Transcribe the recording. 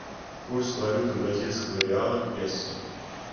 курс валюты бразильского реала к песо